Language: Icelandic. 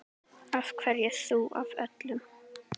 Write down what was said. Af hverju þú af öllum?